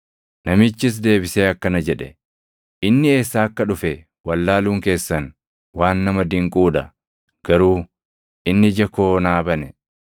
Namichis deebisee akkana jedhe; “Inni eessaa akka dhufe wallaaluun keessan waan nama dinquu dha; garuu inni ija koo naa bane.